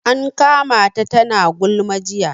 An kama ta tana gulma jiya